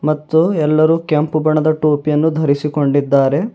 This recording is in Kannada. ಮತ್ತು ಎಲ್ಲರೂ ಕೆಂಪು ಬಣ್ಣದ ಟೋಪಿಯನ್ನು ಧರಿಸಿಕೊಂಡಿದ್ದಾರೆ.